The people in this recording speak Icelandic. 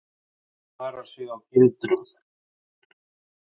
Varar sig á gildrum.